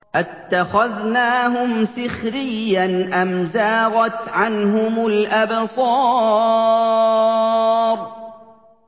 أَتَّخَذْنَاهُمْ سِخْرِيًّا أَمْ زَاغَتْ عَنْهُمُ الْأَبْصَارُ